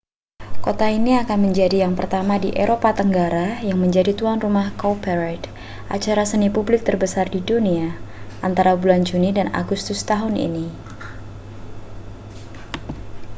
kota ini akan menjadi yang pertama di eropa tenggara yang menjadi tuan rumah cowparade acara seni publik terbesar di dunia antara bulan juni dan agustus tahun ini